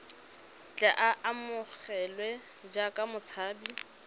tle a amogelwe jaaka motshabi